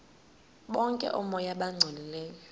okanye oomoya abangcolileyo